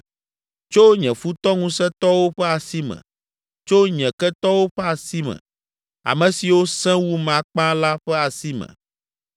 tso nye futɔ ŋusẽtɔwo ƒe asi me, tso nye ketɔwo ƒe asi me, ame siwo sẽ wum akpa la ƒe asi me.